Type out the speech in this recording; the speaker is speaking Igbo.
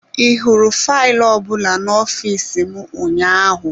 Ị hụrụ faịlụ ọ bụla n'ọfịs m ụnyaahụ?